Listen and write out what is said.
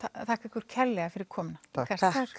þakka ykkur kærlega fyrir komuna takk